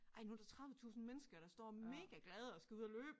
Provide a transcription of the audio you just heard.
Ej nu der 30 tusind mennesker der står mega glade og skal ud og løbe